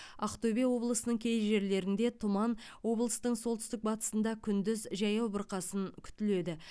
ақтөбе облысының кей жерлерінде тұман облыстың солтүстік батысында күндіз жаяу бұрқасын күтіледі